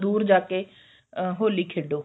ਦੁਰ ਜਾ ਕੇ ਅਹ ਹੋਲੀ ਖੇਡੋ